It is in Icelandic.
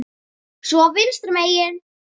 Svo vinstra megin.